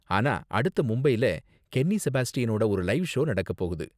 ஆனா அடுத்து மும்பைல கென்னி செபாஸ்டியனோட ஒரு லைவ் ஷோ நடக்கப் போகுது.